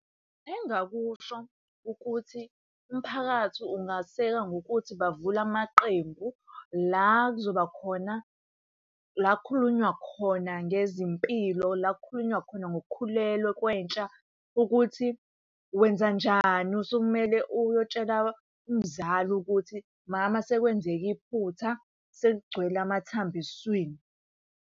Engingakusho ukuthi umphakathi ungay'seka ngokuthi bavule amaqembu la kuzoba khona la kukhulunywa khona ngezimpilo, la kukhulunywa khona ngokukhulelwa kwentsha. Ukuthi wenzanjani sekumele uyotshela umzali ukuthi, mama sekwenzeke iphutha sekugcwele amathambo esiswini.